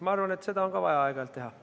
Ma arvan, et ka seda on vaja aeg-ajalt teha.